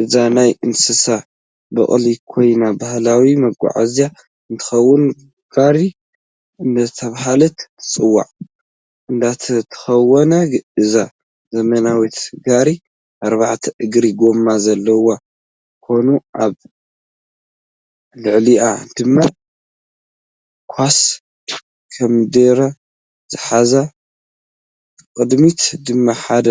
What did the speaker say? እዛ ናይ እንስሳ ብቅሊ ኮይና ባህላዊ መጓዓዝያ እንትከውን ጋሪ እደተበሃለት ትፅዋዕ እንትትከውን እዛ ዘመናዊት ጋሪ ኣርበዕተ እግራ ጎማ ዘለዋ ኮይኑኣብ ልዕሊኣ ደማ ካሳ ኮምደረ ዝሓዘ ብቅድምታ ድማ ሓደ